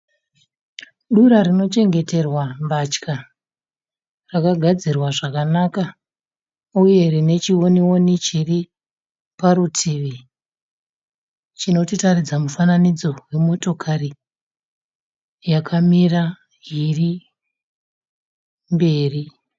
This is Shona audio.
Dura rinochengeterwa mbatya. Rakagadzirwa zvakanaka uye rine chiwoni woni chiriparutivi chinoratidza mufananidzo wemotokari yakamira iri mberi.